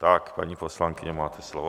Tak, paní poslankyně, máte slovo.